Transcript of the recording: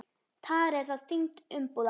Tara er þá þyngd umbúða.